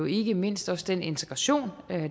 ikke mindst også den integration